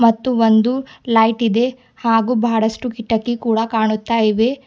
ಮತ್ತು ಒಂದು ಲೈಟ್ ಇದೆ ಹಾಗು ಬಹಳಷ್ಟು ಕಿಟಕಿ ಕೂಡ ಕಾಣುತ್ತಾ ಇವೆ.